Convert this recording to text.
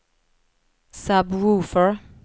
sub-woofer